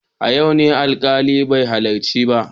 A yau ne alkalin bai halarci ba.